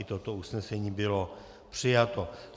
I toto usnesení bylo přijato.